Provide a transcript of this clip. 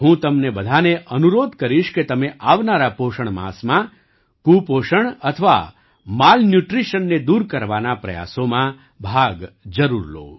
હું તમને બધાને અનુરોધ કરીશ કે તમે આવનારા પોષણ માસમાં કુપોષણ અથવા માલન્યૂટ્રિશનને દૂર કરવાના પ્રયાસોમાં ભાગ જરૂર લો